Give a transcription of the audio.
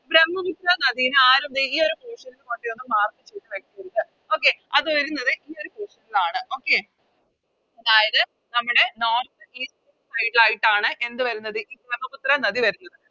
ബ്രമ്മപുത്ര നദിനെ ആരും ദേ ഈയൊരു Portion ൽ കൊണ്ടോയെന്നും Mark ചെയ്ത വെക്കരുത് Okay അത് വരുന്നത് ഈയൊരു Portion ൽ ആണ് Okay അതായത് നമ്മുടെ North east side ആയിട്ടാണ് എന്ത് വരുന്നത് ഈ ബ്രമ്മപുത്ര നദി വരുന്നത്